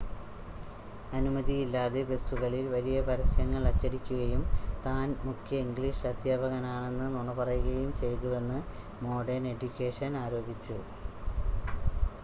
അനുമതിയില്ലാതെ ബസുകളിൽ വലിയ പരസ്യങ്ങൾ അച്ചടിക്കുകയും താൻ മുഖ്യ ഇംഗ്ലീഷ് അദ്ധ്യാപകനാണെന്ന് നുണ പറയുകയും ചെയ്തുവെന്ന് മോഡേൺ എഡ്യൂക്കേഷൻ ആരോപിച്ചു